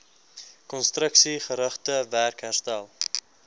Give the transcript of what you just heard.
konstruksiegerigte werk herstel